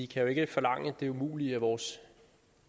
kan jo ikke forlange det umulige af vores